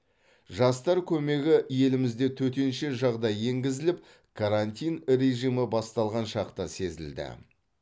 жастар көмегі елімізде төтенше жағдай енгізіліп карантин режимі басталған шақта сезілді